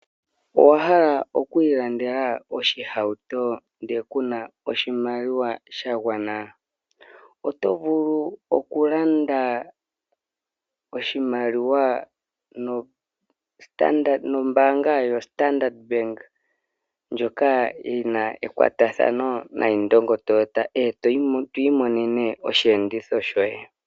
Owa hala okuilandela oshihauto ndele ku na oshimaliwa sha gwana? Oto vulu okulanda oshihauto nombaanga yoStandard Bank ndjoka yi na ekwatathano noIndongo Toyota e to imonene osheenditho shoye.